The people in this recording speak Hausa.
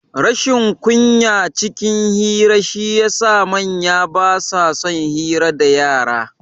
Rashin kunya cikin hira shi ya sa manya basa son hira dayara